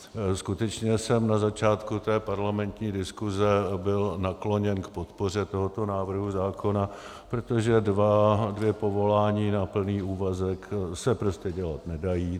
Skutečně jsem na začátku té parlamentní diskuse byl nakloněn k podpoře tohoto návrhu zákona, protože dvě povolání na plný úvazek se prostě dělat nedají.